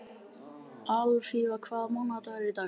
Alfífa, hvaða mánaðardagur er í dag?